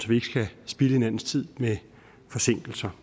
vi ikke skal spilde hinandens tid med forsinkelser